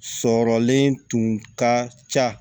Sɔrɔlen tun ka ca